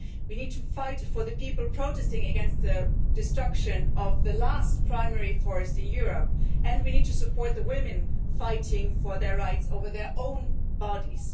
We need to fight for the people protesting against the destruction of the last primary forest in Europe and we need to support the women fighting for their rights over their own bodies.